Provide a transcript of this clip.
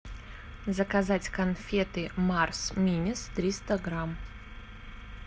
заказать конфеты марс минис триста грамм